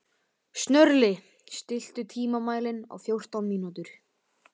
Sörli, stilltu tímamælinn á fjórtán mínútur.